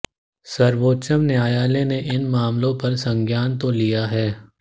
सर्वोच्च न्यायालय ने इन मामलों पर संज्ञान तो लिया है